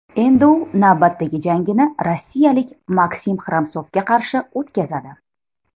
Endi u navbatdagi jangini rossiyalik Maksim Xramsovga qarshi o‘tkazadi.